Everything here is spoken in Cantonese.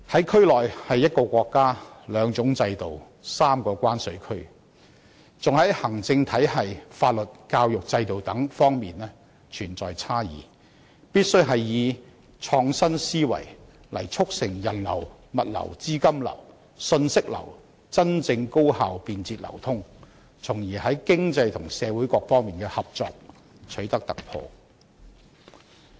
區內可說是一個國家、兩種制度、三個關稅區，而且在行政體系、法律、教育制度等方面存在差異，必須以創新思維促成人流、物流、資金流、信息流真正高效便捷流通，從而在經濟和社會各方面的合作取得突破。